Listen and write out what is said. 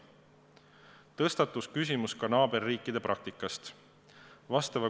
Tõstatus küsimus ka naaberriikide praktika kohta.